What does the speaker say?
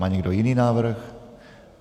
Má někdo jiný návrh?